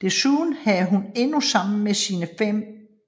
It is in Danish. Desuden havde hun endnu sammen med sine